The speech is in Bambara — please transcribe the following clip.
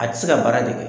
A tɛ se ka baara de kɛ